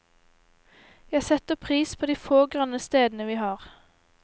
Jeg setter pris på de få grønne stedene vi har.